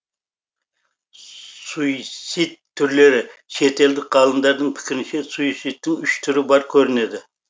суицид түрлері шетелдік ғалымдардың пікірінше суицидтің үш түрі бар көрінеді